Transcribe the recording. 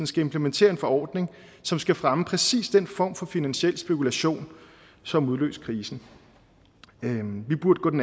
skal implementere en forordning som skal fremme præcis den form for finansiel spekulation som udløste krisen vi burde